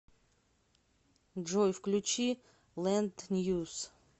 джой включи лэнд ньюс